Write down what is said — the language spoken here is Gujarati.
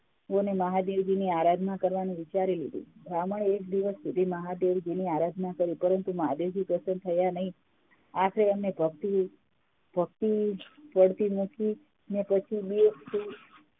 મહાદેવજીની ની આરાધના કરવાનું વિચારી લીધું બ્રાહ્મણ એ એક દિવસ સુધી મહાદેવજીની આરાધના કરી પણ મહાદેવજી પ્રસન્ન થયા નહિ આખેર એમને ભક્તિ જ જડતી નથી અને પછી